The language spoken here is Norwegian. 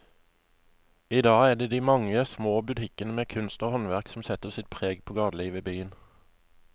I dag er det de mange små butikkene med kunst og håndverk som setter sitt preg på gatelivet i byen.